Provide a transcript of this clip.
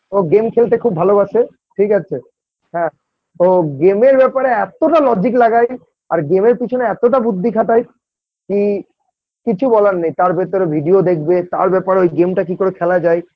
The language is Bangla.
ও Game খেলতে খুব ভালোবাসে ঠিক আছে হ্যাঁ ও Game -এর ব্যাপারে এত্তটা Logic লাগায় আর game -এর পিছনে এতটা বুদ্ধি খাটায় কি কিছু বলার নেই তার ভিতরে video দেখবে তার ব্যাপারে ওই game -টা কিকরে খেলা যায়